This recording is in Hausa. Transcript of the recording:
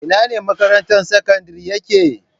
Inane makarantar sakandaren yake?